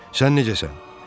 Sən necəsən?